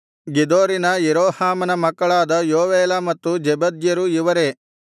ಗೆದೋರಿನ ಯೆರೋಹಾಮನ ಮಕ್ಕಳಾದ ಯೋವೇಲ ಮತ್ತು ಜೆಬದ್ಯರು ಇವರೇ